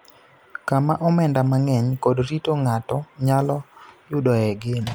kama omenda mang�eny kod rito ng�ato nyalo yudoe geno.